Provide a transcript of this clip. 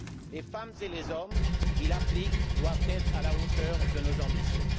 Les femmes et les hommes qui l'appliquent doivent être à la hauteur de nos ambitions.